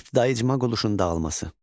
İbtidai icma qurluşun dağılması.